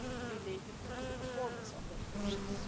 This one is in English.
related to the performance of their duties.